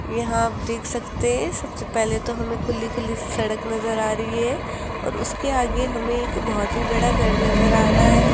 यहां आप देख सकते हैं सबसे पहले तो हमें खुली खुली सी सड़क नजर आ रही है और उसके आगे हमें एक बहोत ही बड़ा घर नजर आ रहा है।